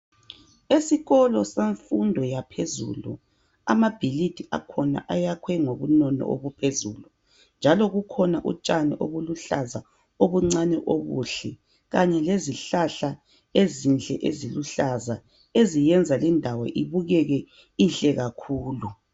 Esikolo semfundo yaphezulu amabhilidi akhona ayakhwe ngobunono obuphezulu njalo kukhona utshani obuluhlaza obuncane obuhle kanye lezihlahla ezinhle eziluhlaza ezenza indawo ibukeke inhle kakhulu .